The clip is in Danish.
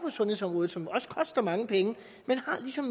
sundhedsområdet som koster mange penge men ligesom